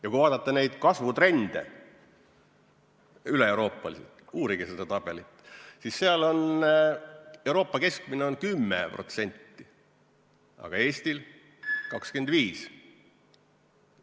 Ja kui vaadata neid kasvutrende üle Euroopa – uurige seda tabelit –, siis Euroopa keskmine on 10%, aga Eestis 25%.